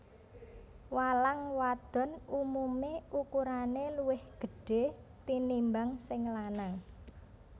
Walang wadon umumé ukurané luwih gedhé tinimbang sing lanang